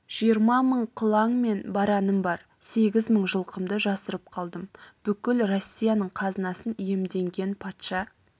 жиырма мың қылаң мен бараным бар сегіз мың жылқымды жасырып қалдым бүкіл россияның қазынасын иемденген патша